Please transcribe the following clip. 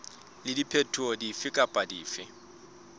le diphetoho dife kapa dife